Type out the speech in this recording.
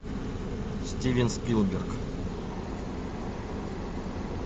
стивен спилберг